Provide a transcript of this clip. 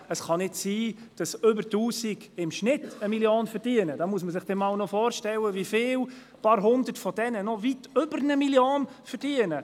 Es kann nicht sein, dass mehr als 1000 Ärzte im Schnitt 1 Mio. Franken verdienen und man sich vorstellen muss, wie viele paar Hundert von ihnen weitaus mehr als 1,1 Mio. Franken verdienen.